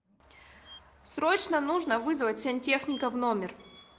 срочно нужно вызвать сантехника в номер